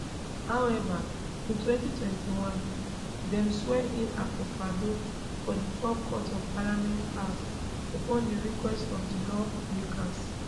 however in 2021 dem swear in akufoaddo for di forecourt of parliament house upon di request of di lawmakers